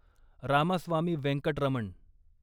Ramaswamy Venkataraman